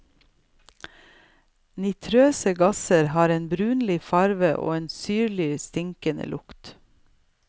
Nitrøse gasser har en brunlig farge og en syrlig, stikkende lukt.